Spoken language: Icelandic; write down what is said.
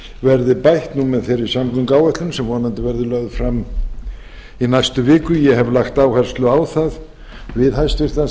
verði bætt nú með þeirri samgönguáætlun sem vonandi verður lögð fram í næstu viku ég hef lagt áherslu á það við hæstvirtan